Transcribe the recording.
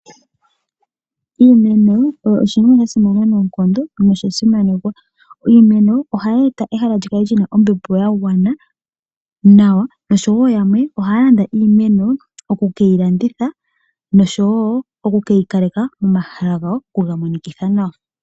Iimeno oyo oshinima sha simana noonkondo nosha simanekwa. Iimeno ohayi etitha ehala li kale lina ombepo ya gwana nawa, noshowo yamwe ohaya landa iimeno oku keyi landitha noshowo oku keyi kaleka momahala gawo, okuga monitha nawa.